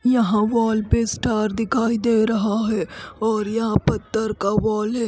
यहाँ वॉल पे स्टार दिखाई दे रहा है और यहाँ पत्थर का वॉल है।